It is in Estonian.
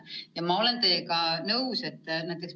Ja ma olen teiega nõus.